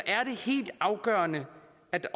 at